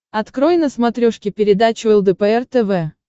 открой на смотрешке передачу лдпр тв